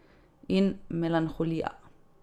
In melanholija.